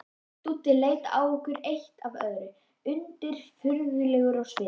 Dúddi leit á okkur eitt af öðru, undirfurðulegur á svip.